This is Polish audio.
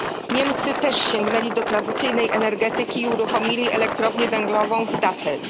Niemcy też sięgnęli do tradycyjnej energetyki i uruchomili elektrownię węglową w Datteln.